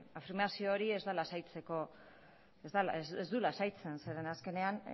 afirmazio hori ez da lasaitzeko ez du lasaitzen zeren azkenean